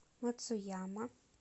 мацуяма